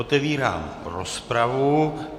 Otevírám rozpravu.